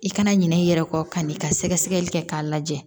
I kana ɲinɛ i yɛrɛ kɔ kan'i ka sɛgɛsɛgɛli kɛ k'a lajɛ